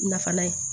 Nafan na ye